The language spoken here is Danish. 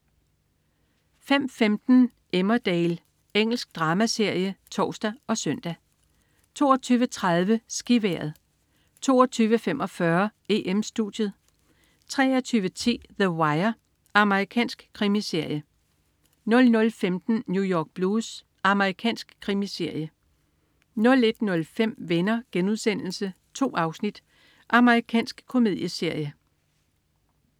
05.15 Emmerdale. Engelsk dramaserie (tors og søn) 22.30 SkiVejret 22.45 EM-Studiet 23.10 The Wire. Amerikansk krimiserie 00.15 New York Blues. Amerikansk krimiserie 01.05 Venner.* 2 afsnit. Amerikansk komedieserie